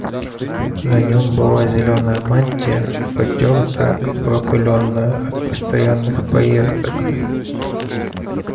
на нем была зелёная мантия потёртая и пропылённая от постоянных поездок